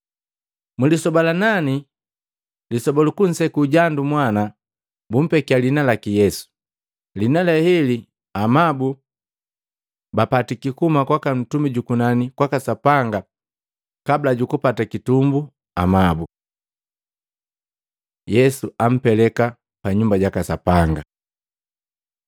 Mulisoba la nani, lisoba lukunseku jandu mwana, bumpekya lihina laki Yesu. Lihina le heli amabu bapatiki kuhuma kwaka ntumi jukunani kwaka Sapanga kabula jukupata kitumbu amabu. Yesu ampeleka pa Nyumba jaka Sapanga